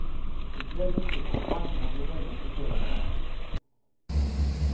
Det gick väldigt fort och bankerna blev väldigt förtretade.